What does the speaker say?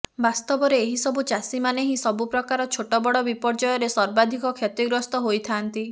ବାସ୍ତବରେ ଏହି ସବୁ ଚାଷୀମାନେ ହିଁ ସବୁ ପ୍ରକାର ଛୋଟବଡ ବିପର୍ଯ୍ୟୟରେ ସର୍ବାଧିକ କ୍ଷତିଗ୍ରସ୍ତ ହୋଇଥାନ୍ତି